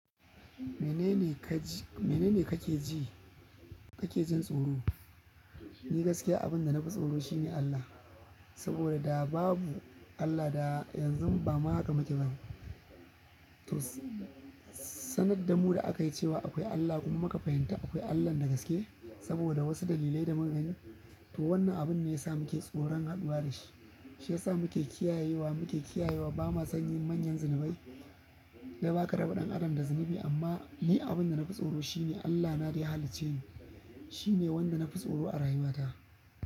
Mene ne kaji-- mene ne kake ji, kake jin tsoro? Ni gaskiya abin da na fi tsoro shi ne Allah. Saboda da babu Allah da yanzu ba ma haka muka ji ba. To, sanar da mu da aka yi cewa akwai Allah kuma aka fahimta akwai Allah na gaske saboda wasu dalilai da magani. To wannan abin ne yasa mu ke jin tsoran haɗuwa da shi shi ya sa muke kiyayewa, muke kiyayewa ba ma sanyin manyan zunubai. Kuma baka raba ɗan adam da zunubi amma ni abin da na fi tsoro shi ne Allah na da ya halicce ni. Shi ne wanda na fi tsoro a rayuwata.